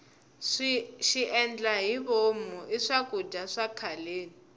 xiendlahivomu i swakudya swa khaleni